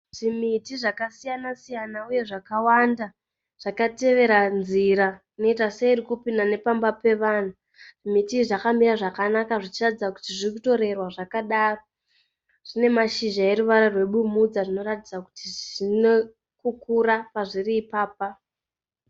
Zvimiti zvakasiyana siyana uye zvakawanda zvakatevera nzira inoita seiri kupinda nepamba pevanhu. Zvimiti izvi zvakamira zvakanaka zvichiratidza kuti zvirikutorerwa zvakanaka. Zvine mashizha aneruvara rwebumhudza zvinoratidza kuti zvirikukura pazviri ipapa.